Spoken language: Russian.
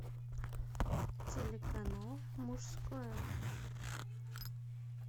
телеканал мужское